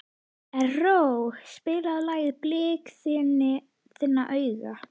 Erró, spilaðu lagið „Blik þinna augna“.